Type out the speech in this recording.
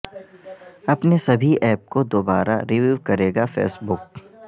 اپنے سبھی ایپ کو دوبارہ ریویو کرے گا فیس بک